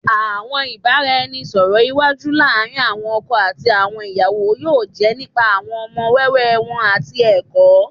Awọn ibaraẹnisọrọ iwaju laarin awọn ọkọ ati awọn iyawo yoo jẹ nipa awọn ọmọ wẹwẹ wọn ati ẹkọ